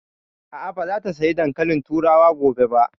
A'a, ba za ta saya dankalin turawa gobe ba